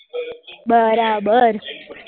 બરાબર